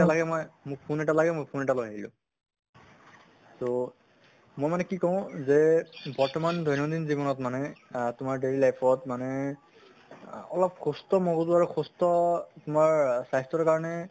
নালাগে মই মোক phone এটা লাহে মই phone এটা লৈ আহিলোঁ । তʼ মই মানে কি কওঁ যে বৰ্তমান দৈনন্দিন জীৱনত মানে আহ তোমাৰ daily life ত মানে আহ অলপ সুস্থ মগজু আৰু সুস্থ তোমাৰ স্বাস্থ্যৰ কাৰণে